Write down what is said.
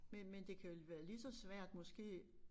Men men det kan vel være lige så svært måske